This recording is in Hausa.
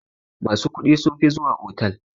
Masu kuɗi sunfi zuwa otal.